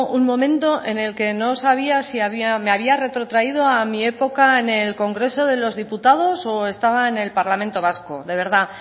un momento en el que no sabía si me había retrotraído a mi época en el congreso de los diputados o estaba en el parlamento vasco de verdad